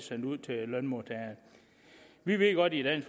sendt ud til lønmodtagerne vi ved godt i